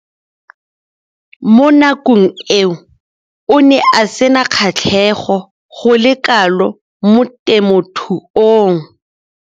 Mo nakong eo o ne a sena kgatlhego go le kalo mo temothuong.